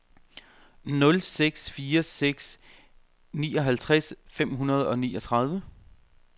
nul seks fire seks nioghalvtreds fem hundrede og niogtredive